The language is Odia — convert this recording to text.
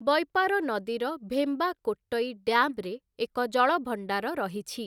ବୈପାର ନଦୀର ଭେମ୍ବାକୋଟ୍ଟଇ ଡ୍ୟାମ୍‌ରେ ଏକ ଜଳଭଣ୍ଡାର ରହିଛି ।